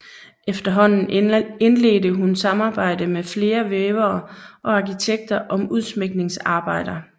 Efterhånden indledte hun samarbejde med flere vævere og arkitekter om udsmykningsarbejder